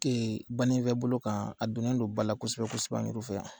Ɛ banin fɛ bolo kan, a donnen don ba la kosɛbɛ kosɛbɛ ani fɛ yan